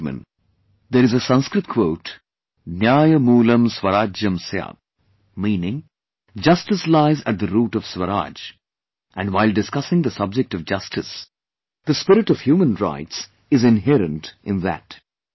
My dear countrymen, there is a Sanskrit quote 'न्यायमूलं स्वराज्यं स्यात्'NyayamoolamSwarajyamSyat meaning justice lies at the root of swaraj and while discussing the subject of justice, the spirit of human rights is inherent in that